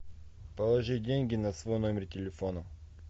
положи деньги на свой номер телефона